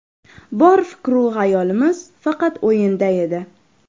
Bor fikr-u xayolimiz faqat o‘yinda edi.